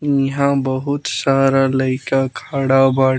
इहाँ बहुत सारा लइका खड़ा बा।